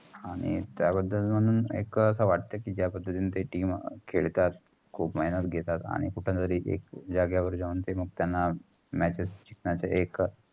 आणि त्या बदल म्हणून एकास वाटेत कि जा पद्धतींनी ते team खेळतात. खूप मैनत घेतात. आणि जाग्यवर जाऊन त्याना matches एक